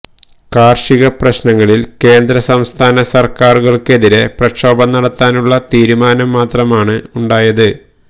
കാർഷിക പ്രശ്നങ്ങളിൽ കേന്ദ്രസംസ്ഥാന സർക്കാരുകൾക്കെതിരെ പ്രക്ഷോഭം നടത്താനുള്ള തീരുമാനം മാത്രമാണ് ഉണ്ടായത്